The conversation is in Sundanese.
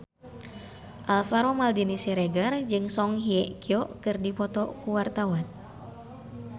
Alvaro Maldini Siregar jeung Song Hye Kyo keur dipoto ku wartawan